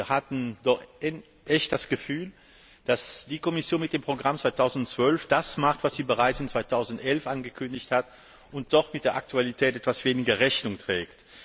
Wir hatten wirklich das Gefühl, dass die Kommission mit dem Programm 2012 das macht, was sie bereits 2011 angekündigt hat und dem sie doch mit der Aktualität etwas weniger Rechnung trägt.